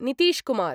Nitish Kumar